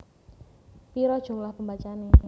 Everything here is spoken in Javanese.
Pira jumlah pembacane